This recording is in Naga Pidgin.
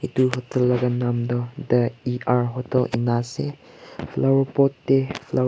edu hotel laka nam tu the hotel ena ase flower pot tae flower .